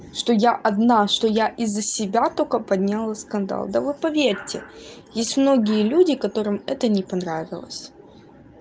что я одна что я из за себя только подняла скандал да вот поверьте есть многие люди которым это не понравилось